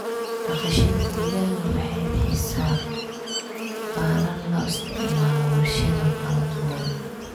Dhaqashada digaaga waxay bixisaa baalal loo isticmaalo warshado kala duwan.